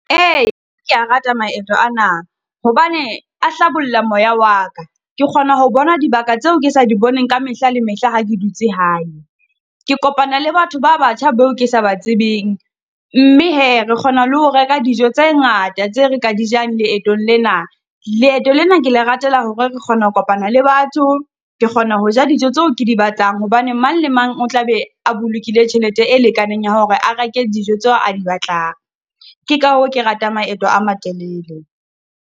Ee, ke ya rata maeto ana, hobane a hlabolla moya wa ka. Ke kgona ho bona dibaka tseo ke sa di boneng ka mehla le mehla ha ke dutse hae. Ke kopana le batho ba batjha beo ke sa ba tsebeng. Mme he re kgona le ho reka dijo tse ngata tse re ka di jang leetong lena. Leeto lena ke le ratela hore re kgona ho kopana le batho, ke kgona ho ja dijo tseo ke di batlang, hobane mang le mang o tla be a bolokile tjhelete e lekaneng ya hore a reke dijo tseo a di batlang. Ke ka hoo ke ratang maeto a matelele.